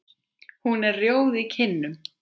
Hún er rjóð í kinnum.